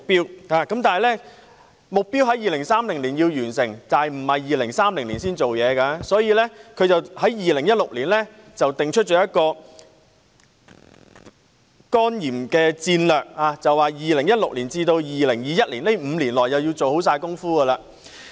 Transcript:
雖然世衞將完成目標的時間定於2030年，但相關工作並不是待2030年才開始，所以，世衞在2016年定出了一個對付肝炎的戰略，要在2016年至2021年的5年內完成工作。